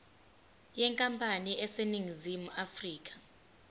yenkampani eseningizimu afrika